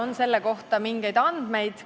Kas selle kohta on mingeid andmeid?